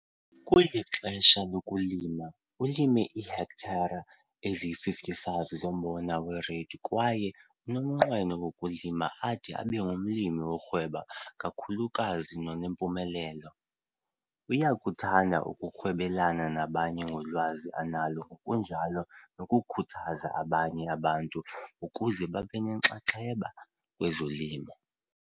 Kweli xesha lokulima, ulime iihektare eziyi-55 zombona weReid kwaye unomnqweno wokulima ade abe ngumlimi orhweba kakhulukazi nonempumelelo. Uyakuthanda ukwabelana nabanye ngolwazi analo ngokunjalo nokukhuthaza abanye abantu ukuba babe nenxaxheba kwezolimo.